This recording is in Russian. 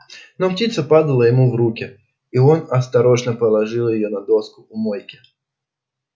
но птица падала ему в руки и он осторожно положил её на доску у мойки